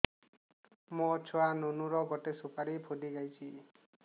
ମୋ ଛୁଆ ନୁନୁ ର ଗଟେ ସୁପାରୀ ଫୁଲି ଯାଇଛି